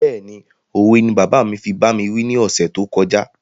Béèni òwe ni bàbá mi fi bá mi wí ni ọ̀sẹ̀ tó kọjá